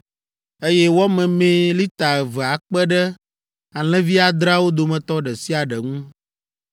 eye wɔ memee lita eve akpe ɖe alẽvi adreawo dometɔ ɖe sia ɖe ŋu.